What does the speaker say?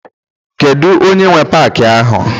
Kedu onye nwe paaki ahụ?